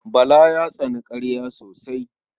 Bala ya tsani ƙarya sosai.